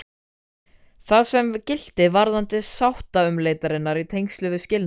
Það sama gilti varðandi sáttaumleitanir í tengslum við skilnað.